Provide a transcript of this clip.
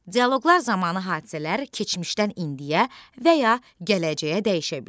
Dialoqlar zamanı hadisələr keçmişdən indiyə və ya gələcəyə dəyişə bilir.